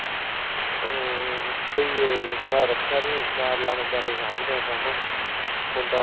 ਹਮ ਭਈਆ ਮੈਂ ਰੱਖਿਆ ਨੀ ਮੇਰਾ ਲਾਣੇਦਾਰ ਹੀ ਸਾਂਭਦਾ ਕੰਮ ਮੁੰਡਾ